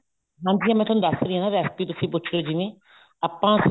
ਹਾਂਜੀ ਹਾਂ ਮੈਂ ਤੁਹਾਨੂੰ ਦੱਸ ਰਹੀ ਹਾਂ recipe ਤੁਸੀਂ ਪੁੱਛ ਰਹੇ ਹੋ ਜਿਵੇਂ ਆਪਾਂ